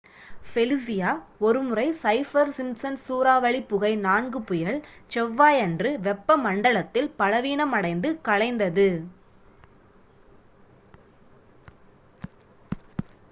Felicia ஒருமுறை Saffir Simpson சூறாவளி வகை 4 புயல் செவ்வாயன்று வெப்பமண்டலத்தில் பலவீனமடைந்து கலைந்தது